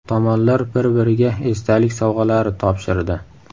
Tomonlar bir-biriga esdalik sovg‘alari topshirdi.